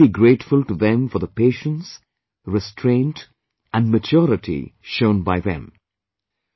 I am particularly grateful to them for the patience, restraint and maturity shown by them